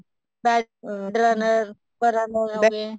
runner runner ਹੋਗੇ